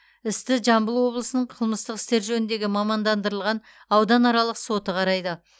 істі жамбыл облысының қылмыстық істер жөніндегі мамандандырылған ауданаралық соты қарайды